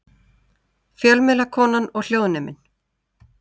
Fjölmiðlakonan og hljóðneminn.